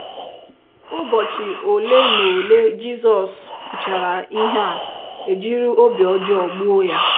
ỤBỌCHỊ ole na ole Jizọs kwuchara ihe a, e jiri obi ọjọọ gbuo ya.